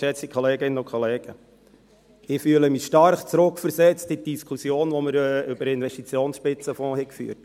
Ich fühle mich stark zurückversetzt in die Diskussion, die wir über den Investitionsspitzenfonds führten.